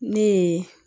Ne ye